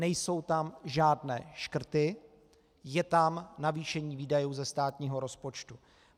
Nejsou tam žádné škrty, je tam navýšení výdajů ze státního rozpočtu.